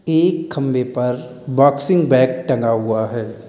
एक खम्बे पर बॉक्सिंग बेग टगा हुआ है।